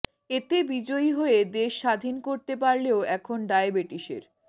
এতে বিজয়ী হয়ে দেশ স্বাধীন করতে পারলেও এখন ডায়াবেটিসের